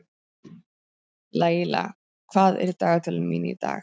Laíla, hvað er á dagatalinu mínu í dag?